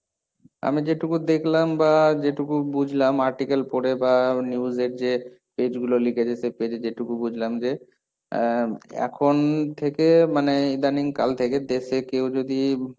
আমি যেটুকু দেখলাম বা যেটুকু বুঝলাম article পড়ে বা news এর যে page গুলো লিখেছে সেই page এ যেটুকু বুঝলাম যে, আহ এখন থেকে মানে ইদানিং কাল থেকে দেশে কেউ যদি,